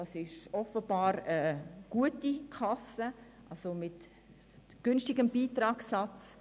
Das ist offenbar eine gute Kasse mit günstigem Beitragssatz.